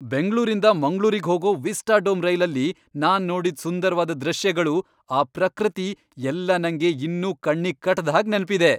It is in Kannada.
ಬೆಂಗ್ಳೂರಿಂದ ಮಂಗ್ಳೂರಿಗ್ ಹೋಗೋ ವಿಸ್ಟಾಡೋಮ್ ರೈಲಲ್ಲಿ ನಾನ್ ನೋಡಿದ್ ಸುಂದರ್ವಾದ್ ದೃಶ್ಯಗಳು, ಆ ಪ್ರಕೃತಿ ಎಲ್ಲ ನಂಗೆ ಇನ್ನೂ ಕಣ್ಣಿಗ್ ಕಟ್ದ್ ಹಾಗ್ ನೆನ್ಪಿದೆ.